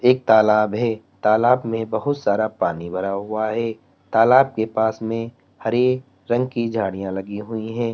एक तालाब है तालाब में बहुत सारा पानी भरा हुआ है तालाब के पास में हरे रंग की झाड़ियां लगी हुई हैं।